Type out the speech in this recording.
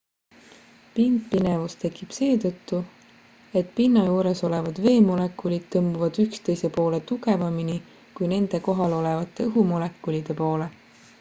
pindpinevus tekib seetõttu et pinna juures olevad veemolekulid tõmbuvad üksteise poole tugevamini kui nende kohal olevate õhumolekulide poole